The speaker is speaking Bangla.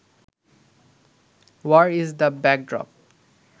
war is the backdrop